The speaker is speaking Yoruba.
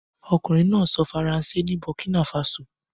Ọkunrin naa sọ Faranse ni Burkina faso.